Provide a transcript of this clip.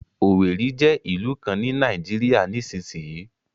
Owerri jẹ́ ìlú kan ní Nàìjíríà nísinsìnyí